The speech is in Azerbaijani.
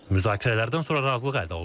Müzakirələrdən sonra razılıq əldə olunub.